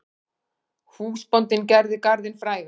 Húsbóndinn gerir garðinn frægan.